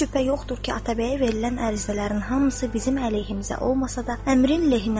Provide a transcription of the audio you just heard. Heç şübhə yoxdur ki, Atabəyə verilən ərizələrin hamısı bizim əleyhimizə olmasa da, əmrin lehinədir.